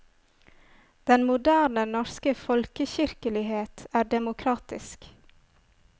Den moderne norske folkekirkelighet er demokratisk.